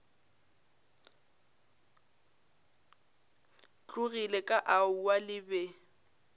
tlogile ka aowa le be